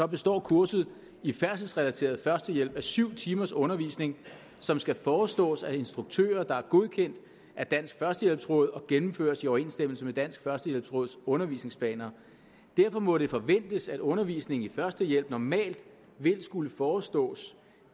består kurset i færdselsrelateret førstehjælp af syv timers undervisning som skal forestås af instruktører der er godkendt af dansk førstehjælpsråd og gennemføres i overensstemmelse med dansk førstehjælpsråds undervisningsplaner derfor må det forventes at undervisningen i førstehjælp normalt vil skulle forestås